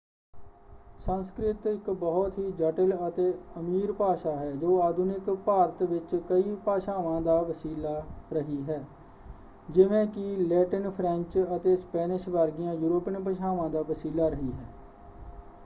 ਸੰਸਕ੍ਰਿਤ ਇੱਕ ਬਹੁਤ ਹੀ ਜਟਿਲ ਅਤੇ ਅਮੀਰ ਭਾਸ਼ਾ ਹੈ ਜੋ ਆਧੁਨਿਕ ਭਾਰਤ ਵਿੱਚ ਕਈ ਭਾਸ਼ਾਵਾਂ ਦਾ ਵਸੀਲਾ ਰਹੀ ਹੈ ਜਿਵੇਂ ਕਿ ਲੈਟਿਨ ਫ੍ਰੈਂਚ ਅਤੇ ਸਪੈਨਿਸ਼ ਵਰਗੀਆਂ ਯੂਰੋਪੀਅਨ ਭਾਸ਼ਾਵਾਂ ਦਾ ਵਸੀਲਾ ਰਹੀ ਹੈ।